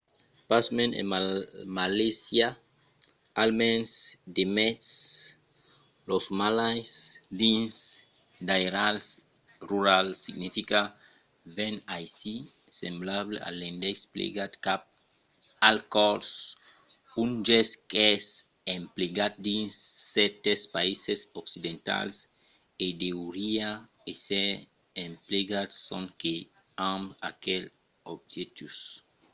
pasmens en malaisia almens demest los malais dins d'airals rurals significa ven aicí, semblable a l'indèx plegat cap al còrs un gèst qu'es emplegat dins cèrtes païses occidentals e deuriá èsser emplegat sonque amb aquel objectiu